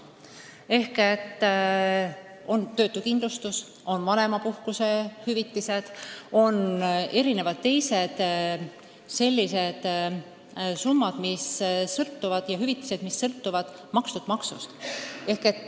Need on näiteks töötuskindlustus- ja vanemahüvitis, samuti teised sellised hüvitised, mis sõltuvad makstud maksust.